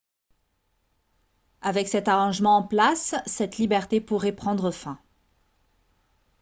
avec cet arrangement en place cette liberté pourrait prendre fin